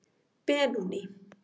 Benóný